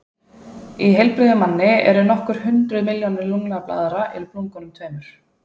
Í heilbrigðum manni eru nokkur hundruð milljónir lungnablaðra í lungunum tveimur.